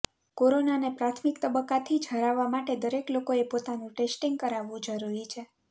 કોરોનાને પ્રાથમિક તબક્કાથી જ હરાવવા માટે દરેક લોકોએ પોતાનું ટેસ્ટીંગ કરાવવું જરુરી છે